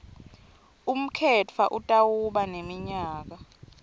umkhetfwa utawuba neminyaka